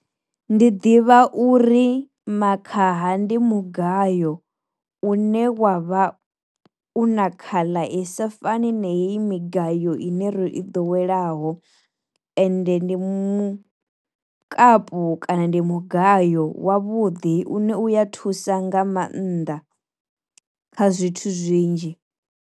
Ndi ḓivha uri makhaha ndi mugayo une wa vha u na khaḽa isa fani na heyi migayo ine ro i ḓo welaho, ende ndi mukapu kana ndi mugayo wa vhuḓi une uya thusa nga maanḓa kha zwithu zwinzhi.